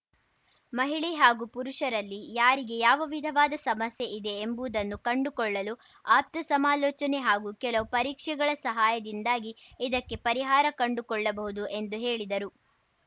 ಮಹಿಳೆ ಹಾಗೂ ಪುರುಷರಲ್ಲಿ ಯಾರಿಗೆ ಯಾವ ವಿಧವಾದ ಸಮಸ್ಯೆ ಇದೆ ಎಂಬುದನ್ನು ಕಂಡುಕೊಳ್ಳಲು ಆಪ್ತ ಸಮಾಲೋಚನೆ ಹಾಗೂ ಕೆಲವು ಪರೀಕ್ಷಗಳ ಸಹಾಯದಿಂದಾಗಿ ಇದಕ್ಕೆ ಪರಿಹಾರ ಕಂಡುಕೊಳ್ಳ ಬಹುದು ಎಂದು ಹೇಳಿದರು